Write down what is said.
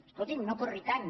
escolti’m no corri tant